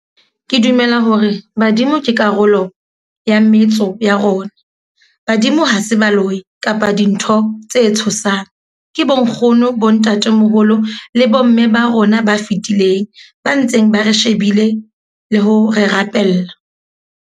Ke dumela hore badimo ke karolo ya metso ya rona. Badimo ha se baloyi, kapa dintho tse tshosang. Ke bonkgono, bontatemoholo le bomme ba rona ba fetileng. Ba ntseng ba re shebile le ho re rapella.